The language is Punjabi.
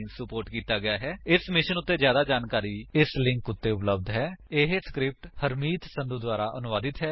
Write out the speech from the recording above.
ਇਸ ਮਿਸ਼ਨ ਉੱਤੇ ਜਿਆਦਾ ਜਾਣਕਾਰੀ ਸਪੋਕਨ ਟਿਊਟੋਰੀਅਲ ਓਰਗ ਨਮੈਕਟ ਇੰਟਰੋ ਉੱਤੇ ਉਪਲੱਬਧ ਹੈ ਇਹ ਸਕਰਿਪਟ ਹਰਮੀਤ ਸੰਧੂ ਦੁਆਰਾ ਅਨੁਵਾਦਿਤ ਹੈ